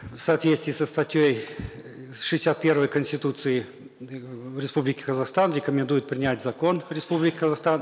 в соответствии со статьей шестьдесят первой конституции э республики казахстан рекомендует принять закон республики казахстан